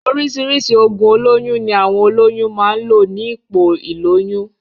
Oríṣìíríṣìí oògùn olóyún ní àwọn olóyún máa ń lò ní ipò ìlóyún.